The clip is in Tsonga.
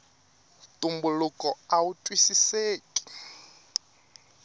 ntumbuluko awu twisiseki